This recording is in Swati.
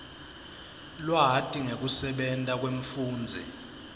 lwati ngekusebenta kwemfundzi